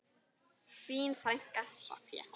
Þín frænka, Soffía.